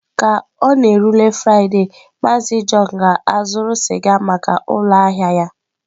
Ka ọ na-erule Fraịde, MaazịJohn ga-azụrụ sịga maka ụlọ ahịa ya.